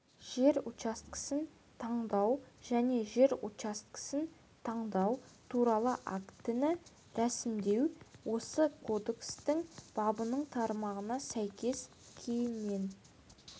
жер учаскесін таңдау және жер учаскесін таңдау туралы актіні рәсімдеу осы кодекстің бабының тармағына сәйкес кейіннен